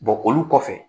olu kɔfɛ